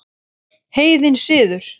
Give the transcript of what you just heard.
Heiðinn siður